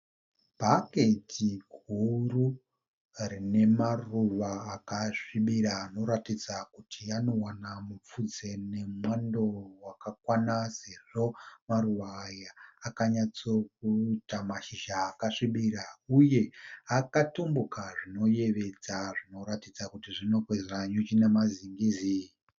Bhaketi guru rine maruva akasvibira anoratidza kuti anowana mupfudze nemwando wakakwana sezvo maruva akanyatso kuita mashizha akasvibira uye akatumbuka zvinoyevedza zvinoratidza kuti zvinokwezva nyuchi nemazingizi.